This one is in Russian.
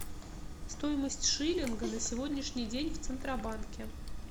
стоимость шиллинга на сегодняшний день в центробанке